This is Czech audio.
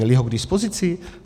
Měli ho k dispozici?